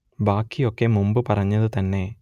ബാക്കി ഒക്കെ മുൻപ് പറഞ്ഞത് തന്നെ